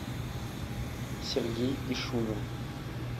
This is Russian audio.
сергей ишунин